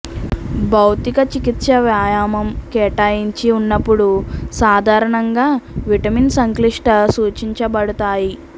భౌతిక చికిత్స వ్యాయామం కేటాయించి ఉన్నప్పుడు సాధారణంగా విటమిన్ సంక్లిష్ట సూచించబడతాయి